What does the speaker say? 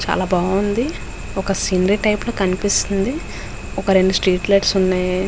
చాలా బాగుంది. ఒక సీనరీ టైపు లో కనిపిస్తుంది. ఒక రెండు స్ట్రీట్ లైట్స్ ఉన్నాయి.